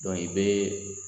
i be